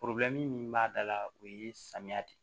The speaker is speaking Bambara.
min b'a da la o ye samiya de ye